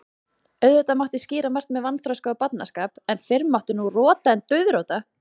Auðvitað mátti skýra margt með vanþroska og barnaskap, en fyrr mátti nú rota en dauðrota.